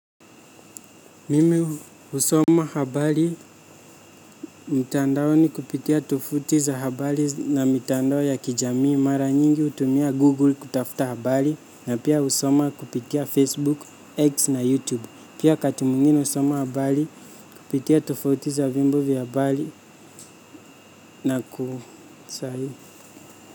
Mimi husoma habari mtandaoni kupitia tovuti za habari na mitandao ya kijamii mara nyingi hutumia google kutafuta habari na pia husoma kupitia facebook, x na youtube. Pia wakati mwingine husoma habari kupitia tovuti za vyombo vya habari na kusari.